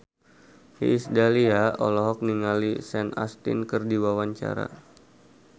Iis Dahlia olohok ningali Sean Astin keur diwawancara